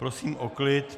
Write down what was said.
Prosím o klid!